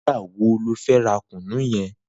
Nigbà wó ló fè rà kúnú yèn?